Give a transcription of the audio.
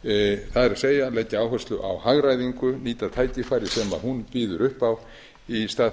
það er leggja áherslu á hagræðingu nýta tækifæri sem hún býður upp á í stað þess